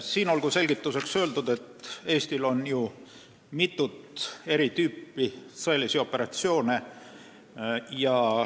Siin olgu selgituseks öeldud, et Eestil on mitut eri tüüpi sõjalisi operatsioone.